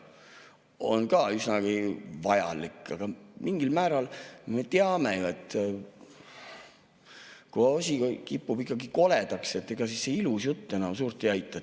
See on ka üsna vajalik, aga mingil määral me ju teame, et kui asi kipub koledaks, siis ega see ilus jutt enam suurt aita.